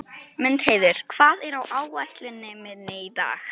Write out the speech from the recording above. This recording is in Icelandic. Mundheiður, hvað er á áætluninni minni í dag?